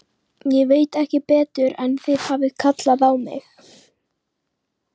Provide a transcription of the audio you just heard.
Ég veit ekki betur en þið hafið kallað á mig.